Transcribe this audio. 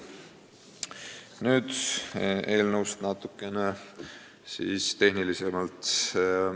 Nüüd eelnõust natukene tehnilisemalt.